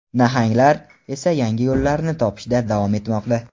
"nahang"lar esa yangi yo‘llarni topishda davom etmoqda.